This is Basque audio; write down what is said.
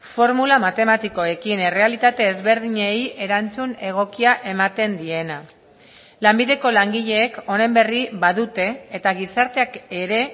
formula matematikoekin errealitate ezberdinei erantzun egokia ematen diena lanbideko langileek honen berri badute eta gizarteak ere